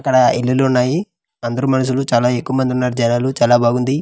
ఇక్కడ ఇల్లులు ఉన్నాయి అందరూ మనషులు చాలా ఎక్కువ మంది ఉన్నారు జనాలు చాలా బాగుంది.